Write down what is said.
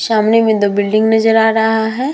सामने मे दो बिल्डिंग नज़र आ रहा है ।